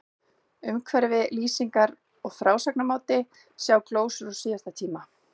Umhverfi, lýsingar og frásagnarmáti, sjá glósur úr síðasta tíma